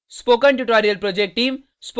spoken tutorial project team